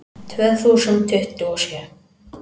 Tvö þúsund tuttugu og sjö